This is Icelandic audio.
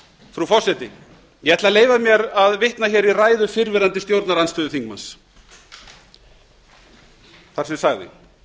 frú forseti ég ætla að leyfa mér að vitna hér í ræðu fyrrverandi stjórnarandstöðuþingmanns þar sem sagði